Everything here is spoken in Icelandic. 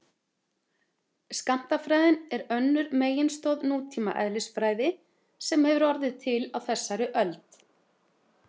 Skammtafræðin er önnur meginstoð nútíma eðlisfræði sem hefur orðið til á þessari öld.